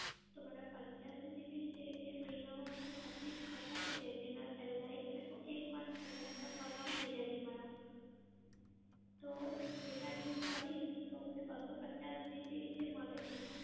તો મારા પંચયાસી GB છે એ મહિના માં મને બધી જ ખતમ થઈ જાય છે એના પહેલાં એક month પહેલાં ખતમ થઈ જાય છે મારા. તો હું data use કરીશ તો મને બસ્સો પચાસ GB જે મળે છે